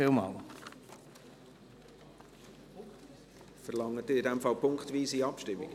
Verlangen Sie damit punktweise Abstimmung?